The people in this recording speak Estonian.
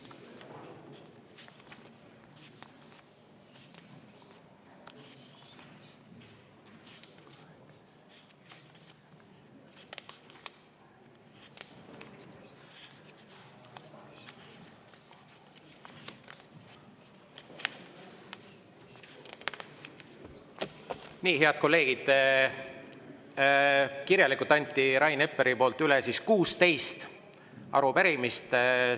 Nii, head kolleegid, Rain Epler andis kirjalikult üle 16 arupärimist.